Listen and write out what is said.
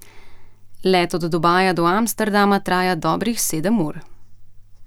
Let od Dubaja do Amsterdama traja dobrih sedem ur.